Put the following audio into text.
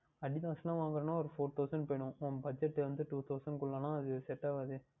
Adidas யில் வாங்குகின்றோம் என்றால் ஓர் Four Thousand க்கு வேண்டும் உன் Budget வந்து Two Thousand குள்ளயே என்றால் அது Set ஆகாது